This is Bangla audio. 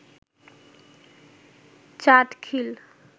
চাটখিল